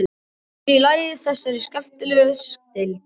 Sér í lagi í þessari skemmtilegu deild.